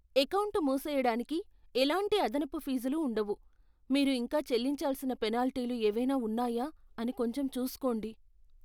Account మూసేయడానికి ఎలాంటి అదనపు ఫీజులు ఉండవు. మీరు ఇంకా చెల్లించాల్సిన పెనాల్టీలు ఏవైనా ఉన్నాయా అని కొంచెం చూస్కోండి.